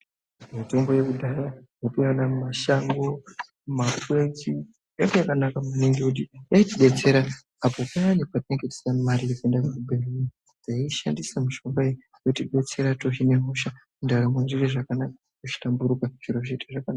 Mutombo yekudhaya yataiwana mumashango mumakwenzi yanga yakanaka maningi ngekuti yaitidetsera apo payani patinenge tisina mari yekuende kuzvibhedhleya taiishandisa mushonga iyi yotibetsira tohine hosha ndaramo yoite zvakanaka yohlamburuka zviro zvoite zvakanaka.